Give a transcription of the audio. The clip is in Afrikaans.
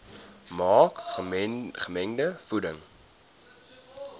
maak gemengde voeding